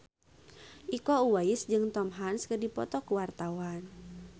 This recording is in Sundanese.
Iko Uwais jeung Tom Hanks keur dipoto ku wartawan